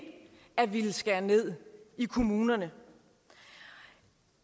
at ville skære ned i kommunerne